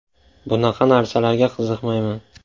Bunaqa narsalarga qiziqmayman.